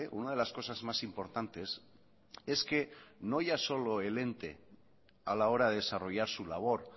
una de las cosas más importantes es que no ya solo el ente a la hora de desarrollar su labor